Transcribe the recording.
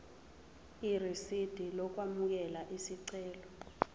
irisidi lokwamukela isicelo